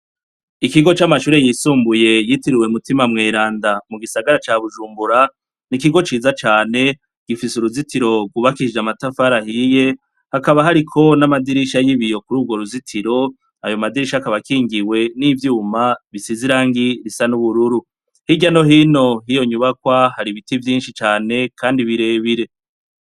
Ikigo c'amashure yisumbuye ,yitiriwe mutima mweranda ,mu gisagara ca bujumbura n'ikigo ciza cane gifise uruzitiro rwubakishije amatafari ahiye, hakaba hariko n'amadirisha y'ibiyo, kuri urwo ruzitiro ayo madirisha akaba kingiwe n'ivyuma bisizirangi risa n'ubururu hirya no hino hiyo nyubakwa, hari biti vyinshi cane kandi birebire.